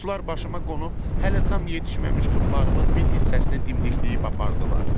Quşlar başıma qonub hələ tam yetişməmiş tumlarımın bir hissəsini dimdikləyib apardılar.